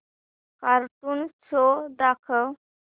cartoon show दाखव